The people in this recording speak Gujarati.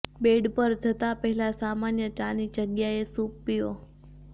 બેડ પર જતાં પહેલાં સામાન્ય ચાની જગ્યાએ સૂપ પીવો